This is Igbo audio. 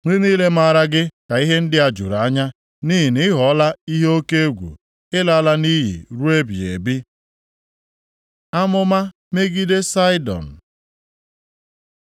Ndị niile maara gị ka ihe ndị a juru anya, nʼihi na ị ghọọla ihe oke egwu. Ị laala nʼiyi ruo ebighị ebi.’ ” Amụma megide Saịdọn